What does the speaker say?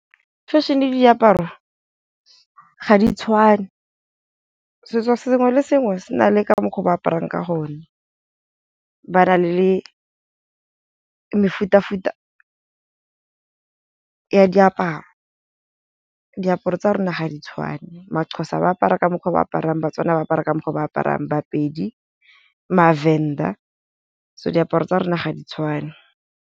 Fashion le diaparo, ga di tshwane. Setso sengwe le sengwe se na le ka mokgwa o ba aparang ka gone, ba na le mefuta-futa ya diaparo. Diaparo tsa rona ga di tshwane ma-Xhosa ba apara ka mokgwa o ba aparang, ba-Tswana ba apara ka mokgwa o ba aparang, ba-Pedi, ma-Venda so diaparo tsa rona ga di tshwane.